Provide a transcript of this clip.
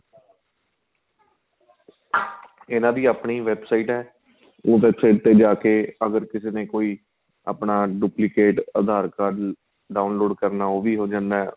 ਇਹਨਾ ਦੀ ਆਪਣੀ website ਏ ਉਹਦੇ ਤੇ ਜਾਂ ਕੇ ਅਗ਼ਰ ਕਿਸੇ ਨੇ ਕੋਈ ਆਪਣਾ duplicate card download ਕਰਨਾ ਉਹ ਵੀ ਹੋ ਜਾਂਦਾ